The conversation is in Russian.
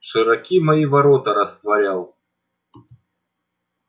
широки мои ворота растворял